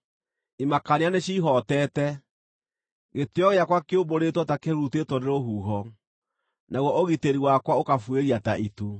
Imakania nĩcihootete; gĩtĩĩo gĩakwa kĩũmbũrĩtwo ta kĩhurutĩtwo nĩ rũhuho, naguo ũgitĩri wakwa ũkabuĩria ta itu.